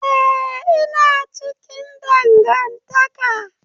Eh ina cikin dangantaka.